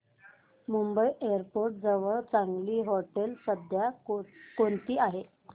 Mumbai airport जवळ चांगली हॉटेलं सध्या कोणती आहेत